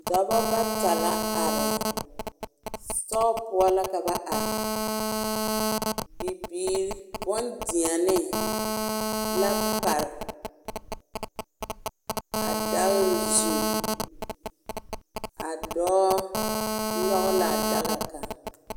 Dɔbɔ bata la are siitɔɔ poɔ la ka ba are bibiiri bone deɛne la pare a dare zu a dɔɔ nyɔge la a daka kaŋ